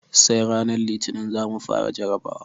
Sai ranar Litinin za mu fara jarabawa.